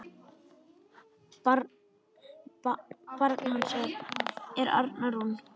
Barn hans er Arna Rún.